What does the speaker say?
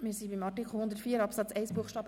Wir sind bei Artikel 104 Absatz 1 Buchstabe